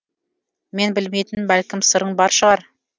мен білмейтін бәлкім сырың бар шығар